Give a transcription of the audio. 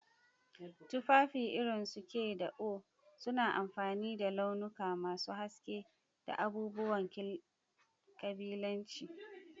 Tufafi irin su k da oé suna amfani da launuka masu haske da abubuwan ƙabilanci.